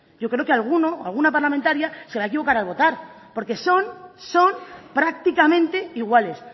yo creo que alguno o alguna parlamentaria se va a equivocar al votar porque son prácticamente iguales